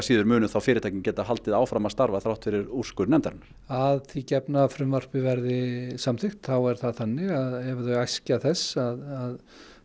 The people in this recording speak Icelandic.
fyrirtækin geta þá haldið áfram að starfa þrátt fyrir úrskurð nefndarinnar að því gefnu að frumvarpið verði samþykkt þá er það þannig að ef þau æskja þess að